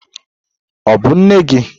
Ọ bụ nne gị?